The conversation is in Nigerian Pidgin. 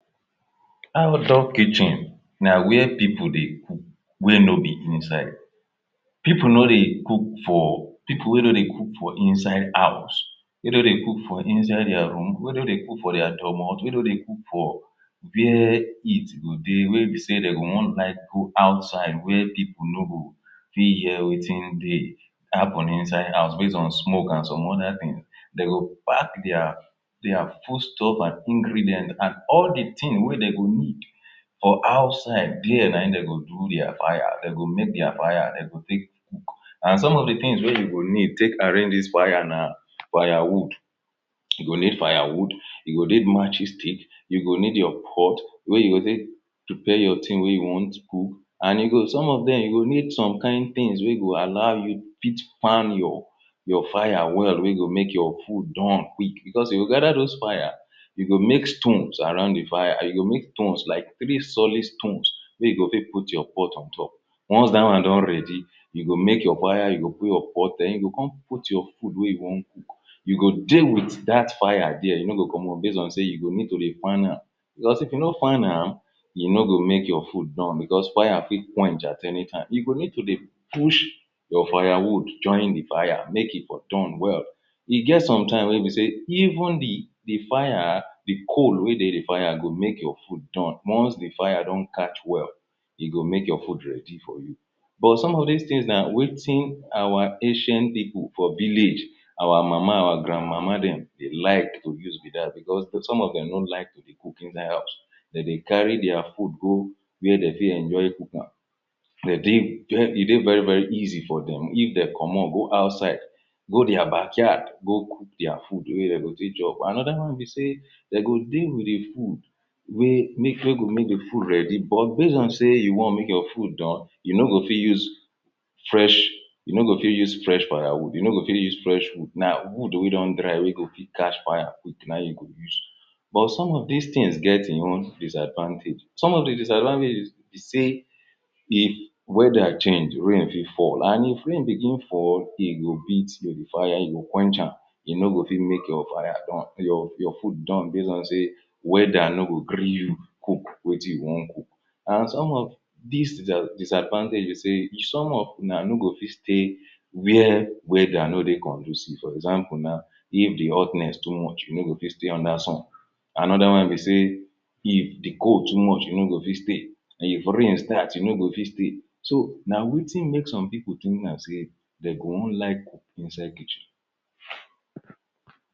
Outdoor kitchen na where people dey cook wey no be inside people no dey cook for, people wey no dey cook for inside house wey no dey for inside dia room, where no dey cook for dia dormot, wey no dey cook for where heat go dey, wey be sey de go wan like go outside where people no go fit hear wetin dey happen inside house, base on smoke and some other thing de go pack dia dia foodstuff and ingredient and all the thing wey dey go need for outside dia na im dey go do dia fire, de go make dia fire, de go take and some of the things wey u go need take arrange dis fire na firewood you go need firewood, you go need matching stick, u go need your pot wey you go take prepare your thing wey you want to cook, and some of dem you go need some kain things wey go allow you fit fan your your fire well wey go make your food don quick because if you gather those fire you make stones around the fire, you make stones like three solid stones wey you go take put your pot on top once that wan don ready, you go make your fire, you go put your pot then you go come put your food wey you wan cook. you go dey with that fire dia, you no go comot base on sey you go need to the fan am because if you no fan am, e no go make your food don because fire fit quench at anytime, you go need to dey push your firewood join the fire make e for don well. E get some time wey be sey even the fire, the coal wey dey the fire go make your food don, once the fire don catch well e go make your food ready for you. But some of these things na wetin our ancient people for village, our mama, our grandmama dem dey like to use because some of dem no like to dey cook inside house de dey carry dia food go where dey fit enjoy cook am e dey ver very easy for them if de comot go outside go dia backyard go cook dia food where dey go fit chop am. another one be sey, de go dey with the food wey go make the food ready but base on sey you make your food don, you no fit use fresh you no fit use fresh firewood, you no fit use fresh wood, na wood wey don dry we go fit catch fire quick na im you go use but some of these things get e own disadvantage. Some of the disadvantages be sey if weather change, rain fit fall and if rain begin fall, e go beat the fire, e go quench am, e no go fit make your fire don, your food don base on sey weather no go gree you cook wetin you wan cook. And some of these disadvantage be sey if some una no go fit stay where weather no dey conducive, for example na if the hotness too much you no fit stay under sun. Another one be sey, if the cold too much you no fit stay, if rain start you no go fit stay. so na wetin pople think de go wan like inside kitchen.